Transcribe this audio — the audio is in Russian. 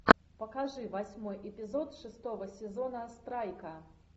покажи восьмой эпизод шестого сезона страйка